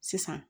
Sisan